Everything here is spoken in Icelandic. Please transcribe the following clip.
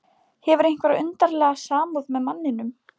Hefur einhverja undarlega samúð með manninum.